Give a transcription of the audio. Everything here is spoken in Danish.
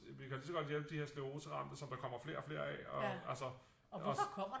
Vi kan lige så godt hjælpe de her skleroseramte som der kommer flere og flere af og altså